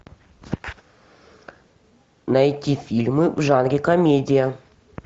найти фильмы в жанре комедия